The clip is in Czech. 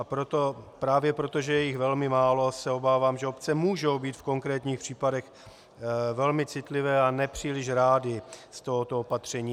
A právě proto, že je jich velmi málo, se obávám, že obce můžou být v konkrétních případech velmi citlivé a nepříliš rády z tohoto opatření.